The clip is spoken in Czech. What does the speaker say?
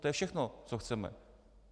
To je všechno, co chceme.